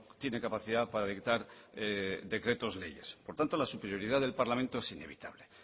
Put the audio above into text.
tiene capacidad para dictar decretos leyes por lo tanto la superioridad del parlamento es inevitable